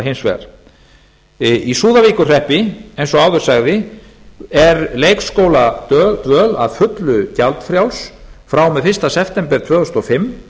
hins vegar í súðavíkurhreppi eins og áður sagði er leikskóladvöl að fullu gjaldfrjáls frá og með fyrsta september tvö þúsund og fimm